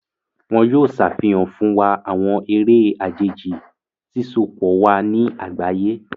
Wón yóò ṣàfihàn fún wà awọn eré àjèjì, sisopọ wà ní àgbáyé.